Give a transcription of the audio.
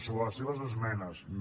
sobre les seves esmenes no